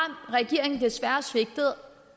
regeringen desværre svigtet